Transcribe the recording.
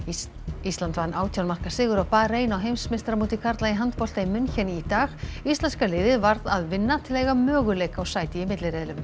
ísland vann átján marka sigur á Barein á heimsmeistaramóti karla í handbolta í München í dag íslenska liðið varð að vinna til að eiga möguleika á sæti í milliriðlum